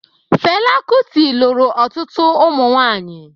Fela Kuti lụrụ ọtụtụ ụmụnwaanyị